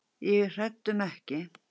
Ég er hræddur um ekki.